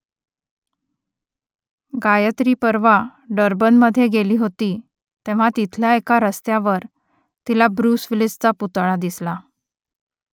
गायत्री परवा डर्बनमध्ये गेली होती तेव्हा तिथल्या एका रस्त्यावर तिला ब्रुस विलिसचा पुतळा दिसला